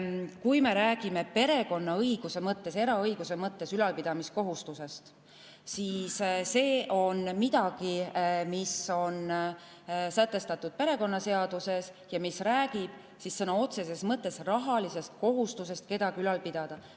Kui me räägime perekonnaõiguse mõttes, eraõiguse mõttes ülalpidamiskohustusest, siis see on midagi, mis on sätestatud perekonnaseaduses ja mis räägib sõna otseses mõttes rahalisest kohustusest kedagi ülal pidada.